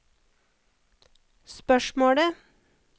spørsmålet